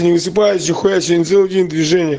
не высыпаюсь нихуя я сегодня целый день в движении